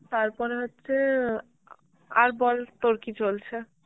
তারপরে হচ্ছে, আর বল তোর কি চলছে?